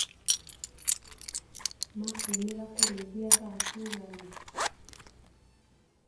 Makumĩra kũrĩithia thaa cigana.